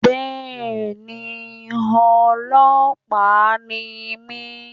Bẹ́ẹ̀ni ọlọ́pàá ni mí